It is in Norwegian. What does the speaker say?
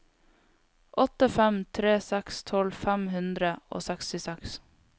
åtte fem tre seks tolv fem hundre og sekstiseks